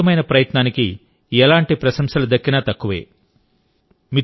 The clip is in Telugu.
ఈ అద్భుతమైన ప్రయత్నానికి ఎలాంటి ప్రశంసలు దక్కినా తక్కువే